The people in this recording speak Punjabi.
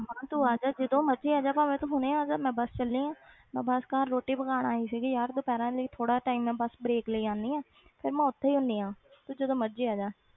ਹਾਂ ਤੂੰ ਆ ਜਾ ਜਦੋਂ ਮਰਜ਼ੀ ਆ ਜਾ ਭਾਵੇਂ ਤੂੰ ਹੁਣੇ ਆ ਜਾ ਮੈਂ ਬਸ ਚੱਲੀ ਹਾਂ ਮੈਂ ਬਸ ਘਰ ਰੋਟੀ ਪਕਾਉਣ ਆਈ ਸੀਗੀ ਯਾਰ ਦੁਪਿਹਰ ਵਾਲੀ ਥੋੜ੍ਹਾ ਜਿਹਾ time ਮੈਂ ਬਸ break ਲਈ ਆਉਂਦੀ ਹਾਂ ਫਿਰ ਮੈਂ ਉੱਥੇ ਹੀ ਹੁੰਦੀ ਹਾਂ ਤੂੰ ਜਦੋਂ ਮਰਜ਼ੀ ਆ ਜਾ।